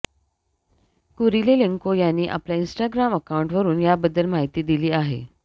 Kurylenko यांनी आपल्या Instagram अकाऊंटवरून याबद्दल माहिती दिली आहे